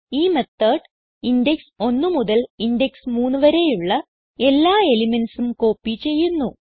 ഈ method index 1 മുതൽ index 3 വരെയുള്ള എല്ലാ elementsഉം കോപ്പി ചെയ്യുന്നു